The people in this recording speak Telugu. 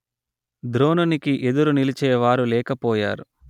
ద్రోణునికి ఎదురు నిలిచేవారు లేక పోయారు